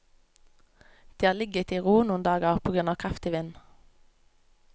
De har ligget i ro noen dager på grunn av kraftig vind.